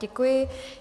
Děkuji.